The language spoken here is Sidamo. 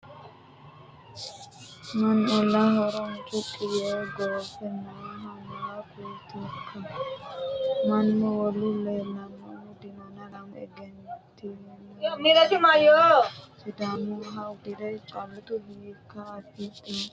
Mannu ollaho horo mucuqi yee goofe noohu maa kuletikka ? Mannu wolu leelanohu dinonna lamu ejjeettoti wo'ma uduune sidaamuha uddire callotu hiikka arifafattanni nookka.